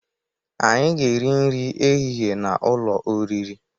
Anyị ga̧-eri nri ehihe n'ụlọ oriri.